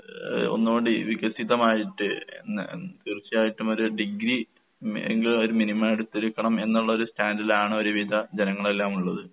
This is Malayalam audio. ഏഹ് ഒന്നൂടി വികസിതമായിട്ട് ന തീർച്ചയായിട്ടും ഒരു ഡിഗ്രി മേ എങ്കിലും അവര് മിനിമം എടുത്തിരിക്കണം എന്നുള്ളൊരു സ്റ്റാൻഡിലാണൊരുവിധ ജനങ്ങളെല്ലാം ഉള്ളത്.